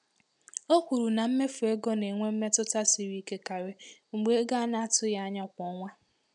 O kwuru na mmefu ego na-enwe mmetụta siri ike karị mgbe ego a na-atụghị anya ya kwa ọnwa.